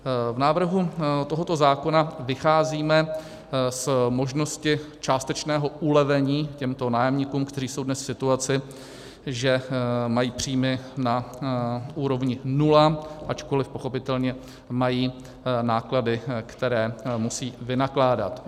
V návrhu tohoto zákona vycházíme z možnosti částečného ulevení těmto nájemníkům, kteří jsou dnes v situaci, že mají příjmy na úrovni nula, ačkoliv pochopitelně mají náklady, které musí vynakládat.